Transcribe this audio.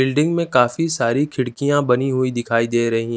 building में काफी सारी खिड़कियां बनी हुई दिखाई दे रही--